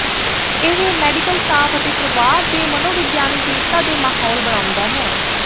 ਇਹ medical staff ਅਤੇ ਪਰਿਵਾਰ ਦੇ ਮਨੋਵਿਗਿਆਨਕ ਏਕਤਾ ਦੇ ਮਾਹੌਲ ਬਣਾਉਦਾ ਹੈ